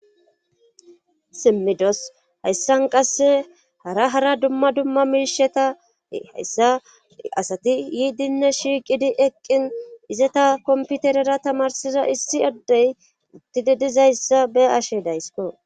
simmidos hayssan qasse hara hara dumma dumma miisheta hayssa asati yiidinne shiiqidi eqqin izata komputerera tamarsiza issi addey uttidi dizayssa be ashe daysko